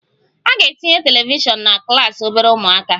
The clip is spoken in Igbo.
A ga-etinye telivishiọn na klas obere ụmụaka